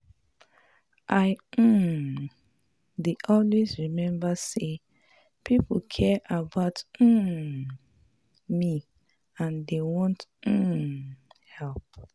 I um dey always rememba sey pipo care about um me and dey wan um help.